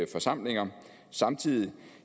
forsamlinger samtidig